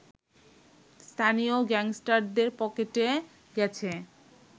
স্থানীয় গ্যাংস্টারদের পকেটে গেছে